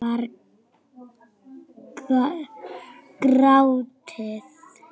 Það var grátið!